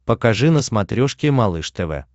покажи на смотрешке малыш тв